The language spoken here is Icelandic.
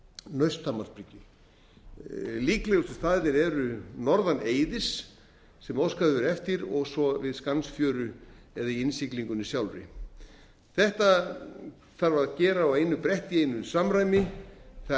nausthamarsbryggju líklegustu staðirnir eru norðan eiðis sem óskað hefur verið eftir og svo við skansfjöru eða í innsiglingunni sjálfri þetta þarf að gera á einu bretti í einu samræmi það